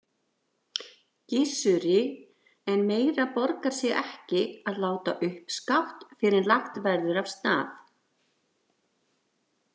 Gissuri, en meira borgar sig ekki að láta uppskátt fyrr en lagt verður af stað.